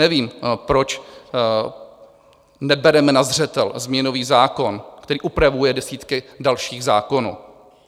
Nevím, proč nebereme na zřetel změnový zákon, který upravuje desítky dalších zákonů.